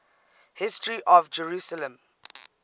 history of jerusalem